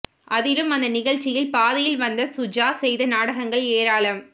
அதிலும் அந்த நிகழ்ச்சியில் பாதியில் வந்த சுஜா செய்த நாடகங்கள் ஏராளம